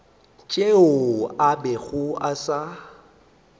tšeo a bego a sa